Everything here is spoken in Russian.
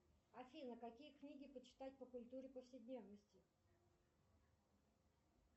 афина какие книги почитать по культуре повседневности